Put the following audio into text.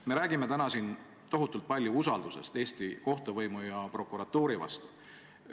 Me räägime täna siin tohutult palju usaldusest Eesti kohtuvõimu ja prokuratuuri vastu.